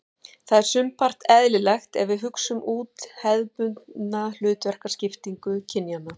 Það er sumpart eðlilegt ef við hugsum út hefðbundna hlutverkaskiptingu kynjanna.